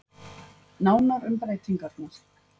Nánar um breytingarnar